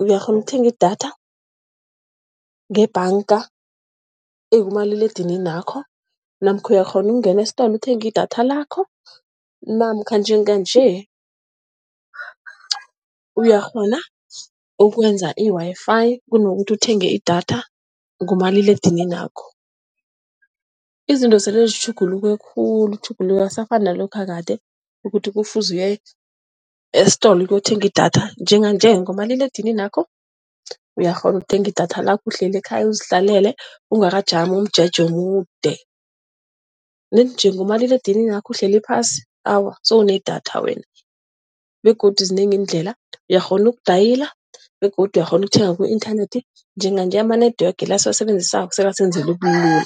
uyakghona ukuthenga idatha ngebhanga ekumaliledininakho namkha uyakghona ukungena esitolo uthenge idatha lakho. Namkha njenganje uyakghona ukwenza i-Wi-Fi, kunokuthi uthenge idatha ngomaliledininakho. Izinto sele zitjhuguluke khulu, ukutjhuguluka akusafani nalokha kade, ukuthi kufuze uye esitolo ukuyothenga idatha njenganje ngomaliledininakho uyakghona ukuthenga idatha lakho uhleli ekhaya, uzihlalele ungakajami umjeje omude. Nedi nje, ngomaliledininakho uhleli phasi, awa sewunedatha wena begodu zinengi iindlela, uyakghona ukudayila begodu uyakghona ukuthenga ku-inthanethi njenganje ama-network la esiwasebenzisako sebasebenzela ubulula.